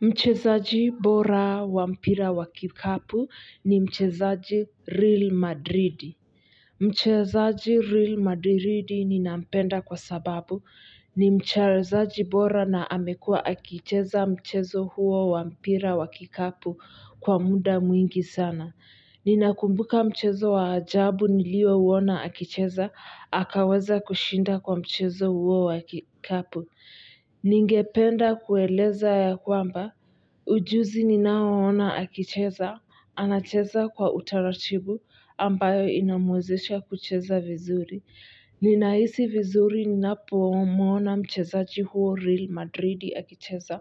Mchezaji bora wa mpira wa kikapu ni mchezaji Real Madrid. Mchezaji Real Madrid ninampenda kwa sababu ni mchezaji bora na amekuwa akicheza mchezo huo wa mpira wa kikapu kwa muda mwingi sana. Ninakumbuka mchezo wa ajabu niliouona akicheza, akaweza kushinda kwa mchezo huo wa kikapu. Ningependa kueleza ya kwamba ujuzi ninaoona akicheza anacheza kwa utaratibu ambayo inamwezesha kucheza vizuri. Ninahisi vizuri ninapomwona mchezaji huyo Real Madrid akicheza